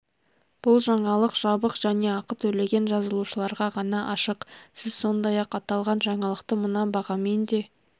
бұл жаңалық жабық және ақы төлеген жазылушыларға ғана ашық сіз сондай-ақ аталған жаңалықты мына бағамен де